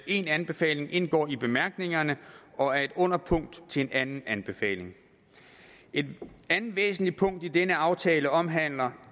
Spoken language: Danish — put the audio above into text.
en anbefaling indgår i bemærkningerne og er et underpunkt til en anden anbefaling et andet væsentligt punkt i denne aftale omhandler